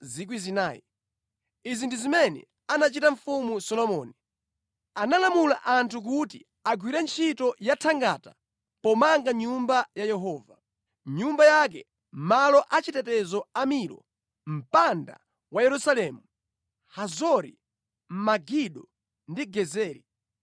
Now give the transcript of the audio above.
Izi ndi zimene anachita Mfumu Solomoni: Analamula anthu kuti agwire ntchito yathangata pomanga Nyumba ya Yehova, nyumba yake, malo achitetezo a Milo, mpanda wa Yerusalemu, Hazori, Megido ndi Gezeri.